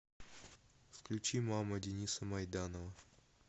включи мама дениса майданова